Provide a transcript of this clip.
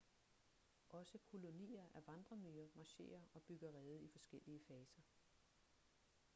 også kolonier af vandremyrer marcherer og bygger rede i forskellige faser